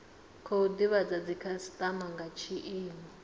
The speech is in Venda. khou divhadza dzikhasitama nga tshiimo